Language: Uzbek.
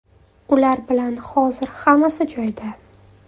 Ular bilan hozir hammasi joyida.